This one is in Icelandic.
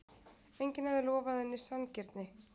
Enginn hafði lofað henni sanngirni.